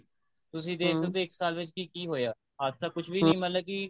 ਤੁਸੀਂ ਦੇਖ ਸਕਦੇ ਇੱਕ ਸਾਲ ਵਿੱਚ ਕਿ ਕਿ ਹੋਇਆ ਅੱਜ ਤਾਂ ਕੁੱਝ ਵੀ ਮਤਲਬ ਕੀ